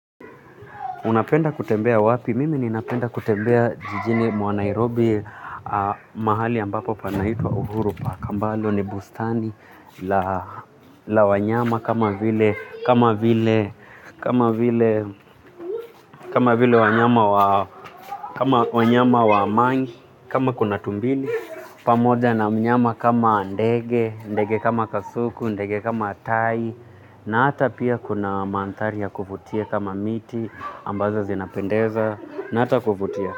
Unapenda kutembea wapi? Mimi ninapenda kutembea jijini mwa Nairobi, mahali ambapo panaitwa Uhuru Park ambalo ni bustani la wanyama kama vile wanyama wa monkey, kama kuna tumbili. Pamoja na mnyama kama ndege, ndege kama kasuku, ndege kama tai. Na hata pia kuna mandhari ya kuvutia kama miti ambazo zinapendeza na hata kuvutia.